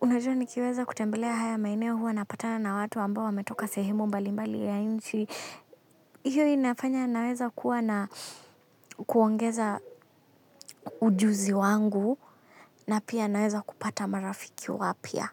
unajua nikiweza kutembelea haya maeneo huwa napatana na watu ambao wametoka sehemu mbalimbali ya nchi hiyo inafanya naeza kuwa na kuongeza ujuzi wangu na pia naweza kupata marafiki wapya.